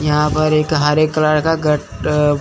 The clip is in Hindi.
यहां पर एक हरे कलर का घट--